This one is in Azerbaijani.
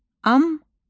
Amma.